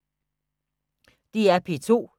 DR P2